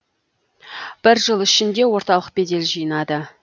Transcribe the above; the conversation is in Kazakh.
бір жыл ішінде орталық бедел жинады